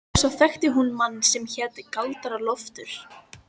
Og svo þekkti hún mann sem hét Galdra-Loftur.